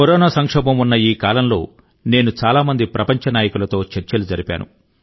corona సంక్షోభం ఉన్న ఈ కాలంలో నేను చాలా మంది ప్రపంచ నాయకులతో చర్చలు జరిపాను